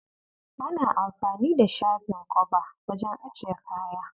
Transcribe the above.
Ana anfani da shafin kwaba wajen ajiye kaya.